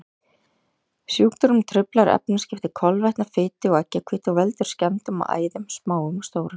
Sjúkdómurinn truflar efnaskipti kolvetna, fitu og eggjahvítu og veldur skemmdum á æðum, smáum og stórum.